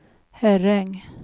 Herräng